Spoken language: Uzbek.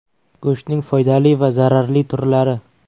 Go‘shtning foydali va zararli turlari.